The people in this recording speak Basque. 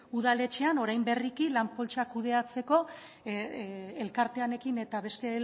udaletxean orain berriki lan poltsak kudeatzeko elkartearekin eta beste